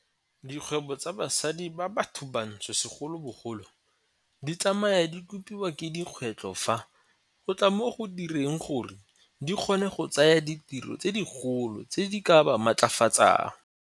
Dikgwebo tsa basadi ba bathobantsho segolobogolo di tsamaya di kgopiwa ke dikgwetlho fa go tla mo go direng gore di kgone go tsaya ditiro tse dikgolo tse di ka ba matlafatsang.